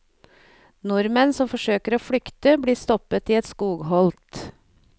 Nordmenn som forsøker å flykte, blir stoppet i et skogholt.